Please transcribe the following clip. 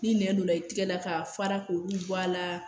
Ni nɛn donna i tɛgɛ la k'a fara k'olu bɔ a la